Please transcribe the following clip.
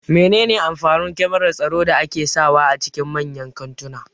Mene ne amfanin kyamarar tsaro da ake sa wa a cikin manyan kantuna